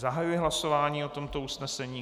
Zahajuji hlasování o tomto usnesení.